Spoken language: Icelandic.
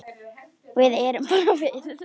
Við erum bara við